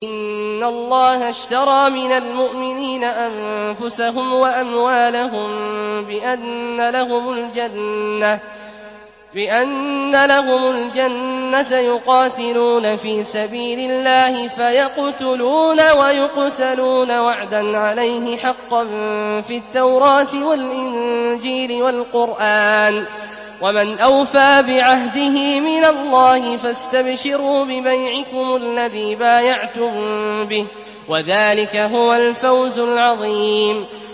۞ إِنَّ اللَّهَ اشْتَرَىٰ مِنَ الْمُؤْمِنِينَ أَنفُسَهُمْ وَأَمْوَالَهُم بِأَنَّ لَهُمُ الْجَنَّةَ ۚ يُقَاتِلُونَ فِي سَبِيلِ اللَّهِ فَيَقْتُلُونَ وَيُقْتَلُونَ ۖ وَعْدًا عَلَيْهِ حَقًّا فِي التَّوْرَاةِ وَالْإِنجِيلِ وَالْقُرْآنِ ۚ وَمَنْ أَوْفَىٰ بِعَهْدِهِ مِنَ اللَّهِ ۚ فَاسْتَبْشِرُوا بِبَيْعِكُمُ الَّذِي بَايَعْتُم بِهِ ۚ وَذَٰلِكَ هُوَ الْفَوْزُ الْعَظِيمُ